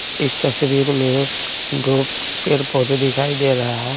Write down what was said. इस तस्वीर में दो पेड़ पौधे दिखाई दे रहा है।